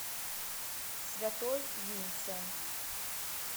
святой винсент